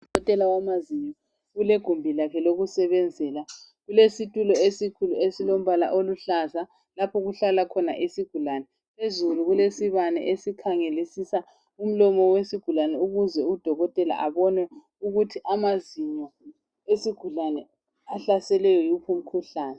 Udokotela wamazinyo, ulegumbi lakhe lokusebenzela. Kulesitulo esikhulu esilombala oluhlaza lapho okuhlala khona isigulani. Phezulu kulesibane esikhangelisisa umlomo wesigulani ukuze udokotela abone ukuthi amazinyo esigulani ahlaselwe yiwuphi umkhuhlane.